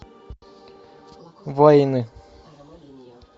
вайны